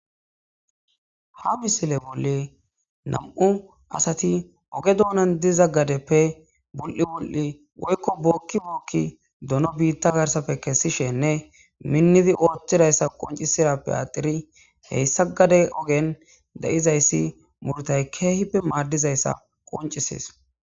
Ha misile bolla betizayssi nam'u asati oge dunnan diza gadeppe wul'i wul'i woyko bokki bokki donno bitta gathappe kesishinne minnidi othizayssa qonccizayssi bettes.hessa gaden diza muruttaykehippe madizayssa.